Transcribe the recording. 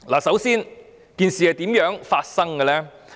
事情是怎樣發生的？